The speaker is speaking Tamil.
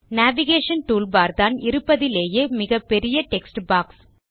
நேவிகேஷன் டூல்பார் பெரிய டெக்ஸ்ட்பாக்ஸ்